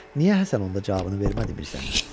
Niyə Həsən onda cavabını vermədi Mirzəyə?